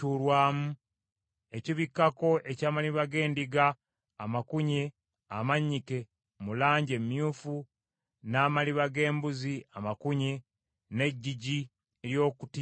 ekibikkako eky’amaliba g’endiga amakunye amannyike mu langi emyufu, n’amaliba g’embuzi amakunye, n’eggigi ery’okutimba;